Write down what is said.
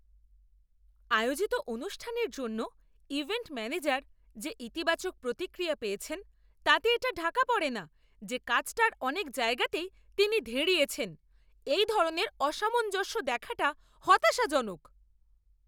আয়োজিত অনুষ্ঠানের জন্য ইভেন্ট ম্যানেজার যে ইতিবাচক প্রতিক্রিয়া পেয়েছে তাতে এটা ঢাকা পড়েনা যে কাজটার অনেক জায়গাতেই তিনি ধেড়িয়েছেন। এই ধরনের অসামঞ্জস্য দেখাটা হতাশাজনক।